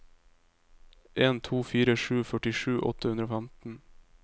en to fire sju førtisju åtte hundre og femten